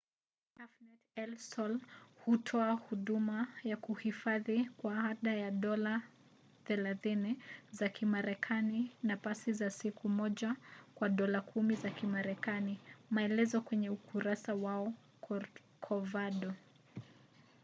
cafenet el sol hutoa huduma ya kuhifadhi kwa ada ya dola 30 za kimarekani na pasi za siku moja kwa dola 10 za kimarekani; maelezo kwenye ukurasa wao wa corcovado